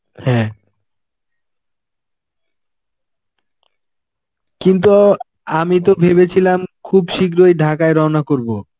হ্যাঁ. কিন্তু আমি তো ভেবেছিলাম খুব শীঘ্রই ঢাকায় রওনা করবো.